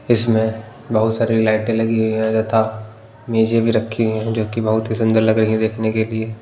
इसमें बहुत सारी लाइटें लगी हुई हैं तथा मेजें भी रखी हुई हैं जो कि बहुत ही सुंदर लग रही हैं देखने के लिए--